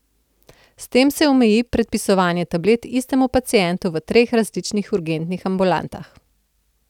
S tem se omeji predpisovanje tablet istemu pacientu v treh različnih urgentnih ambulantah.